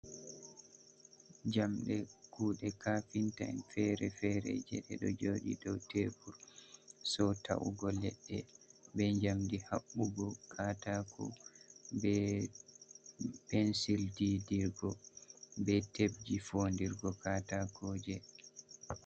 Jamɗe kuuɗe kafinta en fere fere jei ɗe ɗo jooɗi dou tebur so ta’ugo leɗɗe be jamdi haɓɓugo katako be pensil didirgo be tebji fondirgo katakoje.